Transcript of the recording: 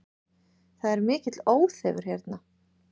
Það er mikill óþefur hérna